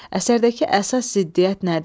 Əsərdəki əsas ziddiyyət nədir?